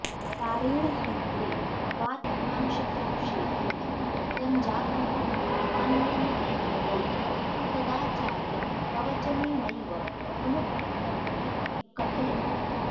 कारेण सूत्रे वातकांशप्रक्षेपेण सञ्जातमिति मन्यन्तेऽपरे तु तदाचार्यंप्रवचनेनैव समुद्भुतमिति कथयन्ति